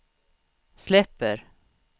släpper